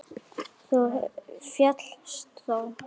Þú féllst þó?